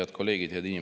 Head kolleegid!